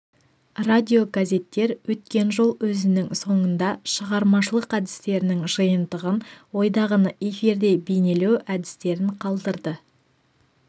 радиогазеттер өткен жол өзінің соңында шығармашылық әдістерінің жиынтығын ойдағыны эфирде бейнелеу әдістерін қалдырды